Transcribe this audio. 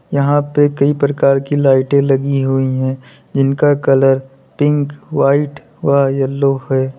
यहां पर कई प्रकार की लाइटें लगी हुई है जिनका कलर पिंक वाइट व येलो है।